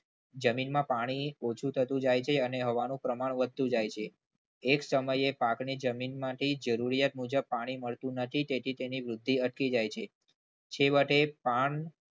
જમીનમાં પાણી ઓછું થતું જાય છે અને હવાનું પ્રમાણ વધતું જાય છે. એક સમયે પાકને જમીનમાંથી જરૂરિયાત મુજબ પાણી મળતું નથી તેથી તેની વૃદ્ધિ અટકી જાય છે. છેવટે પાન